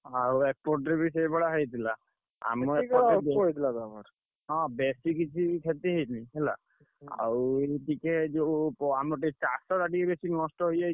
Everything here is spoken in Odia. ଆଉ ଏପଟରେ ସେଇ ଭଳିଆ ହେଇଥିଲା ଆଉ ଏଇ ଟିକେ ଯୋଉ ଆମ ଟିକେ ଚାଷ ଟା ଟିକେ ବେଶୀ ନଷ୍ଟ ହେଇଯାଇଛି।